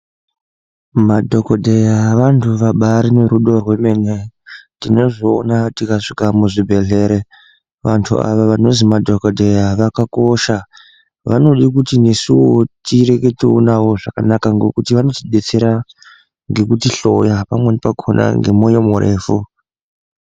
Madhokodheya wanhu wabaari nerudo rwemene, tinozviona tikasvika muzvibhedhlere, wandu awa wanozi madhokodheya wakakosha, wanoda kuti nesuwo tireketewo nawo zvakanaka ngokuti wanoti detsera ngekuti hloya pamweni wakhona ngemwoyo murefu.